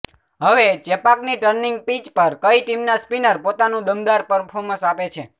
હવે ચેપાકની turning pitch પર કઇ ટીમના સ્પિનર પોતાનુ દમદાર પર્ફોમન્સ આપે છે